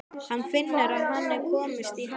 Hann finnur að hann er að komast í ham.